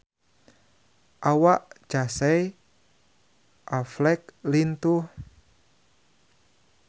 Awak Casey Affleck lintuh